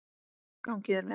Gangi þér vel.